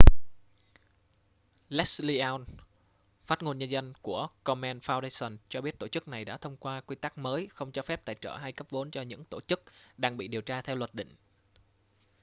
leslie aun phát ngôn nhân của komen foundation cho biết tổ chức này đã thông qua quy tắc mới không cho phép tài trợ hay cấp vốn cho những tổ chức đang bị điều tra theo luật định